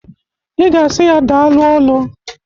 I ga asi ya daalụ ọlụ!